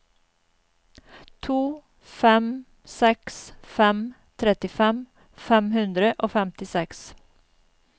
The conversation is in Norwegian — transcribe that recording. to fem seks fem trettifem fem hundre og femtiseks